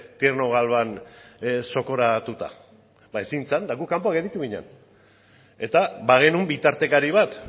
tierno galván zokoratuta ba ezin zen eta gu kanpoan gelditu ginen eta bagenuen bitartekari bat